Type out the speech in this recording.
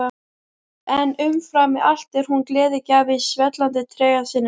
En umfram allt er hún gleðigjafi í svellandi trega sínum.